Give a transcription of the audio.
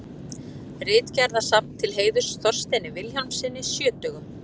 Ritgerðasafn til heiðurs Þorsteini Vilhjálmssyni sjötugum.